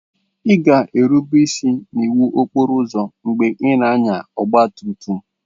Ị ga-erube isi n'iwu okporo ụzọ mgbe ị na-anya ọgba tum tum.